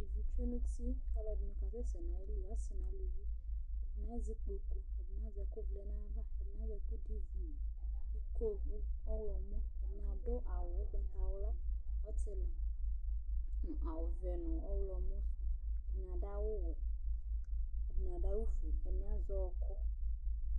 Ivi tsue nʋ uti kʋ alʋɛdɩnɩ kasɛsɛ nʋ ayili, asɩ nʋ aluvi Ɛdɩnɩ azɛ ikpoku, ɛdɩnɩ azɛ ɛkʋvlɛ nʋ ayava, ɛdɩnɩ azɛ ɛkʋdʋ ivu nʋ iko ɔɣlɔmɔ, ɛdɩ adʋ awʋ ʋgbatawla, ɔtɩlɩ nʋ awʋvɛ nʋ ɔɣlɔmɔ sʋ, ɛdɩnɩ adʋ awʋwɛ, ɛdɩnɩ adʋ awʋfue, ɛdɩnɩ azɛ ɔɣɔkʋ